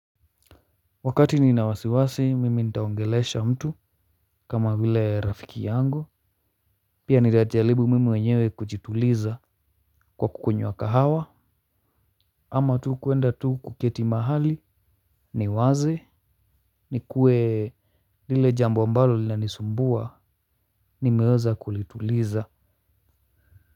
Wakati ninawasiwasi mimi nitaongelesha mtu kama vile rafiki yangu. Pia ninajaribu mimi mwenyewe kujituliza kwa kukunywa kahawa. Ama tu kuenda tu kuketi mahali ni waze ni kuwe lile jambo ambalo linanisumbua nimeweza kulituliza.